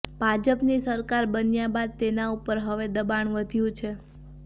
ભાજપની સરકાર બન્યા બાદ તેના ઉપર હવે દબાણ વધ્યું છે